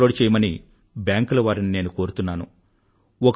in లో upload చెయ్యమని బ్యాంకులవారికి నేను కోరుతున్నాను